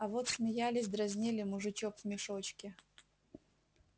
а вот смеялись дразнили мужичок в мешочке